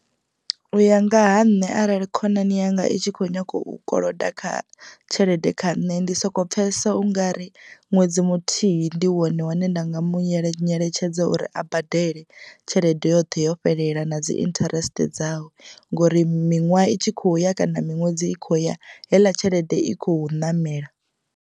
U ya nga ha nṋe arali khonani yanga i tshi kho nyaga u koloda kha tshelede kha nṋe ndi soko pfhesesa ungari ṅwedzi muthihi ndi wone une nda nga mu yele nyeletshedza uri a badele tshelede yoṱhe yo fhelela na dzi interest dzawe ngori miṅwaha i tshi khou ya kana miṅwedzi i kho ya heiḽa tshelede i khou ṋamela.